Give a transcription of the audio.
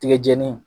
Tigɛ jɛni